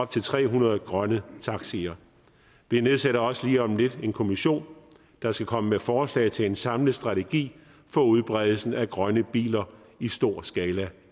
til tre hundrede grønne taxier vi nedsætter også lige om lidt en kommission der skal komme med forslag til en samlet strategi for udbredelsen af grønne biler i stor skala